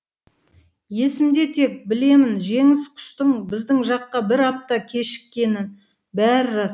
есімде тек білемін жеңіс құстың біздің жаққа бір апта кешіккенін бәрі рас